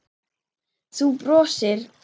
Þú brosir.